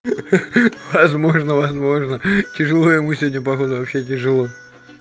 ха-ха-ха возможно возможно тяжело ему сегодня походу вообще тяжело